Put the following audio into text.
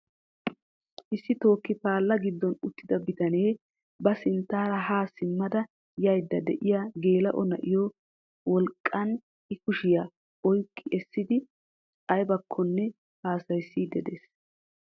Issi tooki paalangiddon uttida bitanee ba sinttara ha simma da yayyide de'iyaa gela"o na'iya wolqqan I kushiya oyqqi essidi aybbakkomne haassayssidi de'ees.